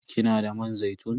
Kina da man zaitun?